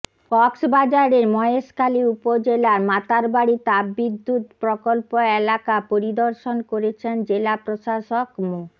কক্সবাজারের মহেশখালী উপজেলার মাতারবাড়ি তাপবিদ্যুৎ প্রকল্প এলাকা পরিদর্শন করেছেন জেলা প্রশাসক মো